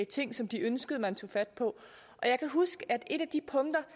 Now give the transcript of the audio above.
ting som de ønskede man tog fat på jeg kan huske at et af de punkter